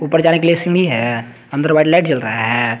ऊपर जाने के लिए सीढ़ी है अन्दर व्हाईट लाइट जल रहा हैं।